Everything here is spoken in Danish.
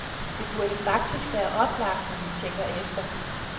Det burde faktisk være oplagt, når man tænker efter.